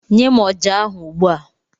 Nye m ọjà ahụ, ugbu a!